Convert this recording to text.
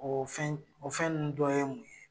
Ɔ fɛn o fɛn ninnu dɔnye mun ye?